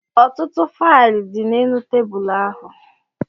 Ọtụtụ faịlụ dị n'elu tebụl ahụ